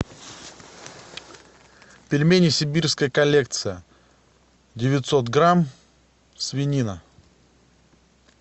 пельмени сибирская коллекция девятьсот грамм свинина